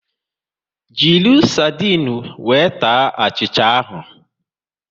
Jiri sardinu wee taa achịcha ahụ